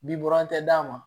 Bi buran tɛ d'a ma